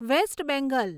waste Bengal